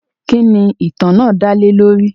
Kínní ìtàn náà dálè lórí?